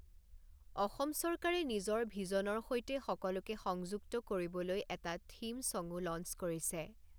অসম চৰকাৰে নিজৰ ভিজনৰ সৈতে সকলোকে সংযুক্ত কৰিবলৈ এটা থীম ছঙো লঞ্চ কৰিছে।